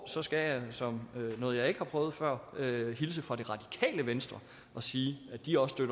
så skal jeg som noget jeg ikke har prøvet før hilse fra det radikale venstre og sige at de også